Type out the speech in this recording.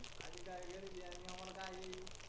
आणि काय करते करण्यासाठी आणि आम्हाला काय आहे